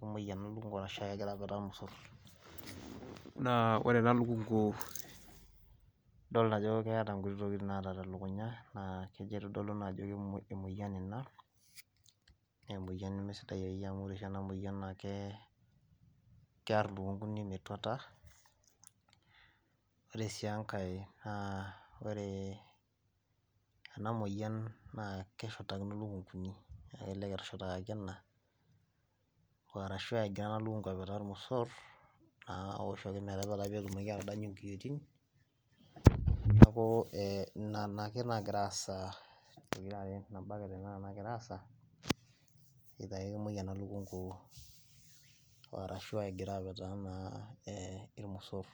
kemuoi ake ena lukunku ashu egira apetaa lmosor. naa ore ena lukunku, idolta ajo keeta nkuti tokitin naata te lukunya, naa kejo aitodolu ina ajo emoyian ina, naa emoyia nemesidai akeyie. amus ore oshi ena moyian naa kear ilukunkuni metuata, ore sii enkae naa ore, ena moyian naa keshurtakino lukunkuni, naa kelelek etushurtakaki ena, arashu egira ena lukunku apetaa lmosor. naa ore oshiake pee etumoki atadanyu nkiyioitin, neeku ee nena ake nagira aasa, nabaa ake tene naagira aasa, either ake kemuoi ena lukunku, arashu egira apetaa naa ilmosoor.